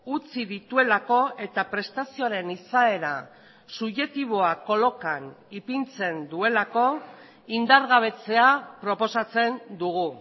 utzi dituelako eta prestazioaren izaera subjektiboa kolokan ipintzen duelako indargabetzea proposatzen dugu